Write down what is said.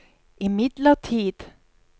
imidlertid